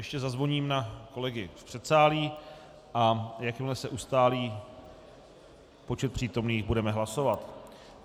Ještě zazvoním na kolegy v předsálí, a jakmile se ustálí počet přítomných, budeme hlasovat.